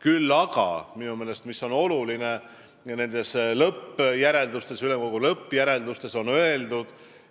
Küll aga on minu meelest oluline see, et nendes ülemkogu lõppjäreldustes on öeldud,